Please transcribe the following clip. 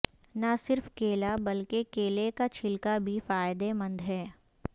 نہ صرف کیلا بلکہ کیلے کا چھلکا بھی فائدہ مند ہے